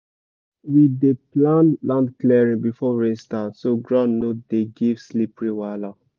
we dey plan land clearing before rain start so ground no dey give slippery wahala